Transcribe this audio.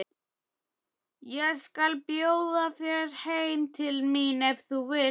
Ég skal bjóða þér heim til mín ef þú vilt!